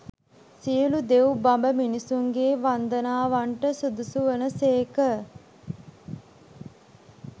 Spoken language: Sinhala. සියලු දෙව්, බඹ, මිනිසුන්ගේ වන්දනාවන්ට සුදුසු වන සේක.